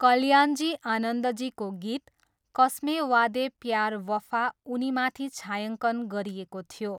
कल्याणजी आनन्दजीको गीत 'कस्मे वादे प्यार वफा' उनीमाथि छायाङ्कन गरिएको थियो।